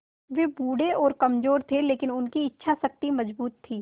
वे बूढ़े और कमज़ोर थे लेकिन उनकी इच्छा शक्ति मज़बूत थी